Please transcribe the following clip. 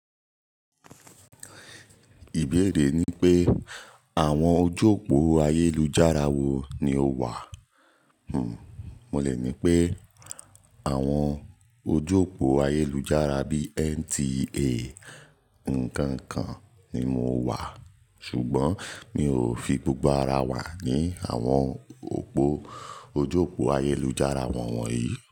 Ìbéèrè ni pé àwọn ojú òpó ayélujára wo ni o wà? Hmmm, mo lè ní pé àwọn ojú òpó ayélujára bí i NTA nǹkan kan ni mo wà, ṣùgbọ́n mi ò fi gbogbo ara wà ní àwọn òpó ojú òpó ayélujára wọ̀nyí.